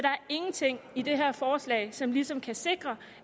ingenting i det her forslag som ligesom kan sikre